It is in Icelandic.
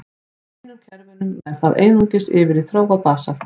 Í hinum kerfunum nær það einungis yfir í þróað basalt.